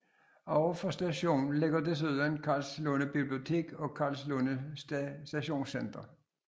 Overfor stationen ligger desuden Karlslunde Bibliotek og Karlslunde Stationscenter